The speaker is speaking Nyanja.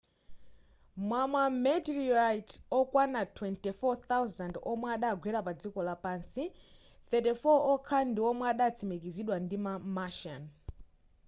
mwa ma meteorite okwana 24,000 omwe adagwera pa dziko lapansi 34 okha ndi omwe adatsimikizidwa ndi ma martian